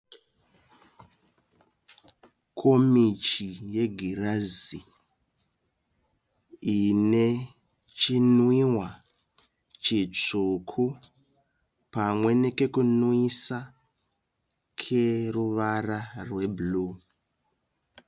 Komichi yegirazi ine chimwiwa chitsvuku pamwe nekekumwisa keruvara rwebhuru.